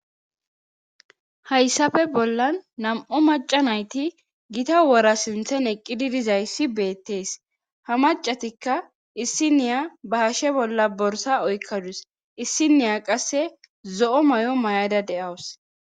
hayssafe bollan nam7o maca nayti gita wora sinthen eqqidi dizayssi beettees ha macatikka issiniya ba hashe bolla borsa oykkadus issiniya qasse zo7o may7o may7ada de7awus